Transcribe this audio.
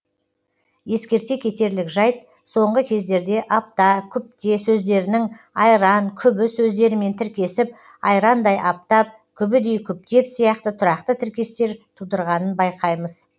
ескерте кетерлік жайт соңғы кездерде апта күпте сөздерінің айран күбі сөздерімен тіркесіп айрандай аптап күбідей күптеп сияқты тұрақты тіркестер тудырғанын байқаймыз